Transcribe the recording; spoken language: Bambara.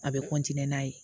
A bɛ n'a ye